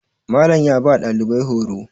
Malam ya ba ɗalibai horo